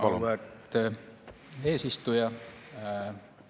Auväärt eesistuja!